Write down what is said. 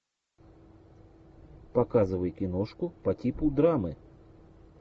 показывай киношку по типу драмы